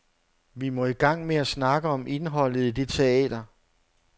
Vi må i gang med at snakke om indholdet i det teater.